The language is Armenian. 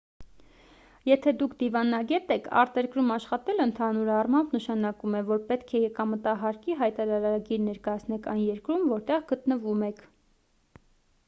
եթե դուք դիվանագետ եք արտերկրում աշխատելը ընդհանուր առմամբ նշանակում է որ պետք է եկամտահարկի հայտարարագիր ներկայացնեք այն երկրում որտեղ գտնվում եք